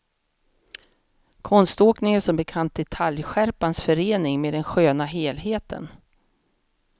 Konståkning är som bekant detaljskärpans förening med den sköna helheten.